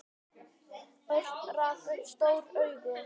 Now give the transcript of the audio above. Örn rak upp stór augu.